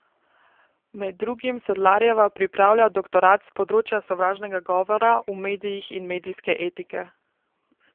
Med drugim Sedlarjeva pripravlja doktorat s področja sovražnega govora v medijih in medijske etike.